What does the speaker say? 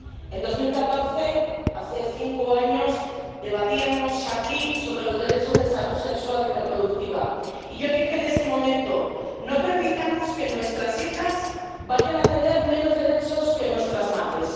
En 2014, hace cinco años, debatíamos aquí sobre los derechos de salud sexual y reproductiva, y yo dije en ese momento No permitamos que nuestras hijas vayan a tener menos derechos que nuestras madres.